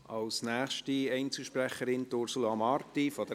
Für die SP-JUSO-PSA-Fraktion hat Ursula Marti das Wort.